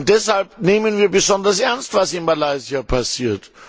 Deshalb nehmen wir besonders ernst, was in Malaysia passiert.